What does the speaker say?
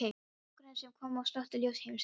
Það var nágranni sem kom og slökkti ljós heimsins.